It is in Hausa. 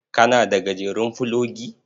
Kana da gajeren fulogi?